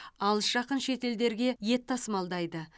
алыс жақын шетелдерге ет тасымалдайды